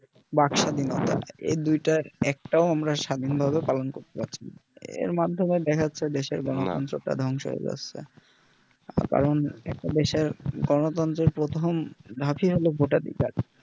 বাকস্বাধীনতা এই দুটার একটাও আমরা স্বাধীন ভাবে পালন করতে পারছি না এর মাধমে দেখা যাচ্ছে দেশের গণতন্ত্র প্রাই ধংস হয়ে যাচ্ছে কারণ একটা দেশের গণতন্ত্রের প্রথম ধাপ ই হলোও ভোটাধিকার